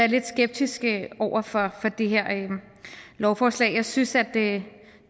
lidt skeptisk over for det her lovforslag jeg synes at det